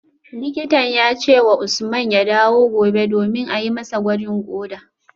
Likitan ya ce wa Usman ya dawo gobe domin a yi masa gwajin koda